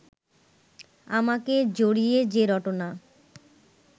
আমাকে জড়িয়ে যে রটনা